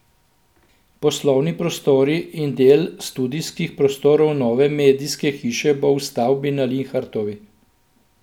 Poslovni prostori in del studijskih prostorov nove medijske hiše bo v stavbi na Linhartovi.